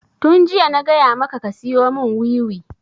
Tun jiya na gaya maka ka siyo mun wiwi!